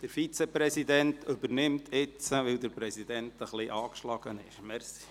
Weil der Präsident ein bisschen angeschlagen ist, übernimmt jetzt der Vizepräsident den Vorsitz.